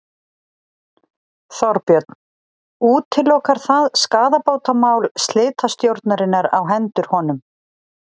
Þorbjörn: Útilokar það skaðabótamál slitastjórnarinnar á hendur honum?